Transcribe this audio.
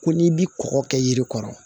Ko n'i bi kɔkɔ kɛ yiri kɔrɔ